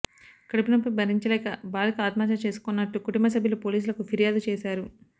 కడుపునొప్పి భరించలేక బాలిక ఆత్మహత్య చేసుకున్నట్లు కుటుంబసభ్యులు పోలీసులకు ఫిర్యాదు చేశారు